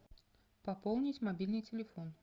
пополнить мобильный телефон